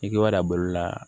I k'i b'a dabɔ la